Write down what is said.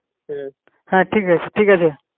হ্যাঁ ঠিক আছে ঠিক আছে